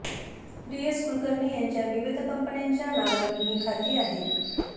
D S Kulkarni यांच्या विविध कंपन्यांच्या नावांनी ही खाती आहेत